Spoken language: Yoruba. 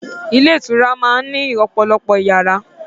Ilé ìtura máá ń ní ọ̀pọ̀lọpọ̀ yàrá